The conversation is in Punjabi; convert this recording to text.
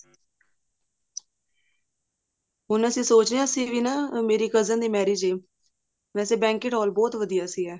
ਹੁਣ ਅਸੀਂ ਸਿਚ ਰਹੇ ਹਾਂ ਅਸੀਂ ਵੀ ਨਾ cousin ਦੀ marriage ਹੈ ਵੇਸੇ banquet ਹਾਲ ਬਹੁਤ ਵਧੀਆ ਸੀਗਾ